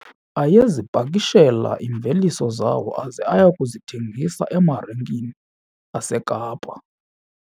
Ayezipakishela iimveliso zawo aze aye kuzithengisa emarikeni yaseKapa.